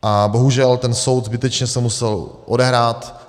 A bohužel ten soud zbytečně se musel odehrát.